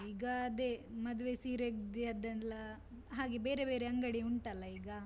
ಈಗ ಅದೆ ಮದುವೆ ಸೀರೆಯದ್ದೆ ಎಲ್ಲ, ಹಾಗೆ ಬೇರೆ ಬೇರೆ ಅಂಗಡಿ ಉಂಟಲ್ಲಾ ಈಗ.